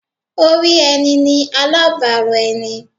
Orí ẹni ni alábàárò ẹni.